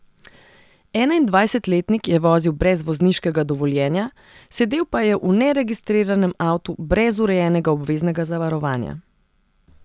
Enaindvajsetletnik je vozil brez vozniškega dovoljenja, sedel pa je v neregistriranem avtu brez urejenega obveznega zavarovanja.